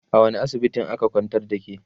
a wani asibitin aka kwantar da ke?